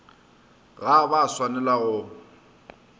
ga ba a swanela go